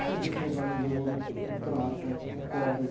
Aprendi a soldar em ouro, em prata, em cobre.